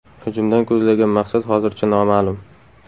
Hujumdan ko‘zlangan maqsad hozircha noma’lum.